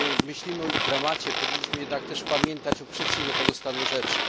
Kiedy myślimy o ich dramacie powinniśmy jednak też pamiętać o przyczynie tego stanu rzeczy.